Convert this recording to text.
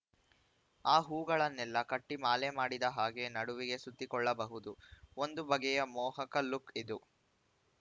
ಆ ಹೂಗಳನ್ನೆಲ್ಲ ಕಟ್ಟಿಮಾಲೆ ಮಾಡಿದ ಹಾಗೆ ನಡುವಿಗೆ ಸುತ್ತಿಕೊಳ್ಳಬಹುದು ಒಂದು ಬಗೆಯ ಮೋಹಕ ಲುಕ್‌ ಇದು